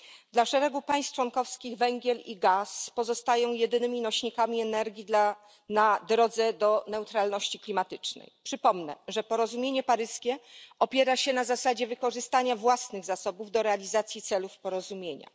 Dla szeregu państw członkowskich węgiel i gaz pozostają jedynymi nośnikami energii na drodze do neutralności klimatycznej. Przypomnę, że porozumienie paryskie opiera się na zasadzie wykorzystania własnych zasobów do realizacji celów porozumienia.